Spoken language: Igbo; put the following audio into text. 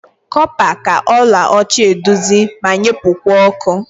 Copa ka ọla ọcha eduzi ma nyepukwa ọkụ.